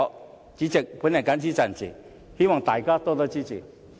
代理主席，我謹此陳辭，希望大家多多支持。